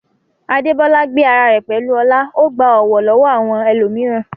Adebola gbé ara rẹ̀ pẹ̀lú ọlá, ó gba ọ̀wọ̀ lọ́wọ́ àwọn ẹlòmíràn.